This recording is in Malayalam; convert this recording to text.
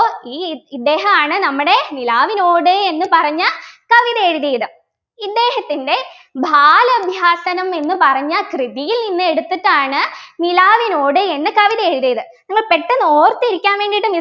ഈ ഇദ്ദേഹാണ് നമ്മുടെ നിലാവിനോട് എന്ന് പറഞ്ഞ കവിത എഴുതിയത് ഇദ്ദേഹത്തിൻ്റെ ബാല ഇതിഹാസനം എന്നു പറഞ്ഞ കൃതിയിൽ നിന്ന് എടുത്തിട്ടാണ് നിലാവിനോട് എന്ന കവിത എഴുതിയത് നിങ്ങൾ പെട്ടെന്ന് ഓർത്തിരിക്കാൻ വേണ്ടിയിട്ട്